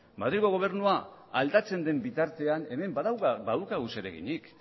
madrilgo gobernua aldatzen den bitartean hemen badauka hau zereginik